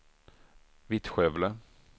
Vittskövle